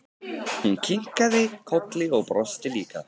Hún kinkaði kolli og brosti líka.